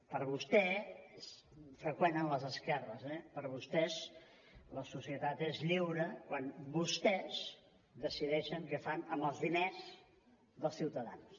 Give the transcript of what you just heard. per vostè és freqüent en les esquerres eh per vostès la societat és lliure quan vostèsdecideixen què fan amb els diners dels ciutadans